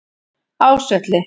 Ásvelli